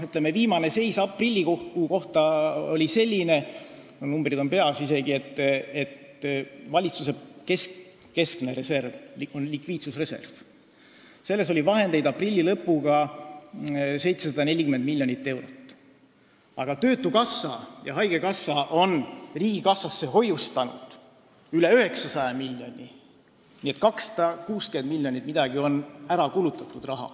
Viimane seis, aprillikuu seis oli selline – mul on numbrid isegi peas –, et valitsuse keskses reservis, mis on likviidsusreserv, oli 740 miljonit eurot, aga töötukassa ja haigekassa on riigikassasse hoiustanud üle 900 miljoni, nii et umbes 260 miljonit on ära kulutatud.